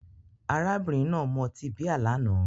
Arábìnrin náà mu ọtí bíà lánàá